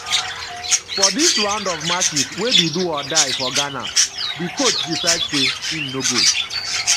for dis round of matches wey be do-or-die for ghana di coach decide say im no go